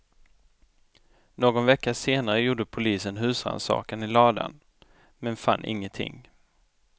Någon vecka senare gjorde polisen husrannsakan i ladan, men fann ingenting.